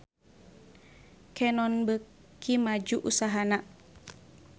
Canon beuki maju usahana